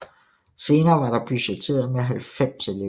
Senere var der budgetteret med 90 elever